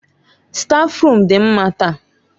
Stáfruum dị mma taa.